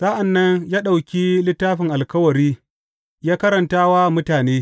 Sa’an nan ya ɗauki Littafin Alkawari ya karanta wa mutane.